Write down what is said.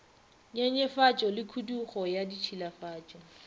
nyenyefatšo le khudugo ya ditšhilafatšo